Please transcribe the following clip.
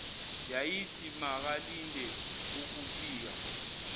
yayithi makalindele ukufika